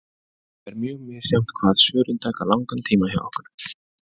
Það er mjög misjafnt hvað svörin taka langan tíma hjá okkur.